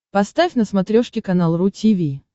поставь на смотрешке канал ру ти ви